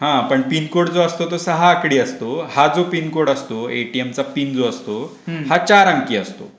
हा पण पिनकोड जो असतो तो सहा आकडी असतो हा जो पिन कोड असतो एटीएम चा पिन जो असतो. हा चार अंकी असतो.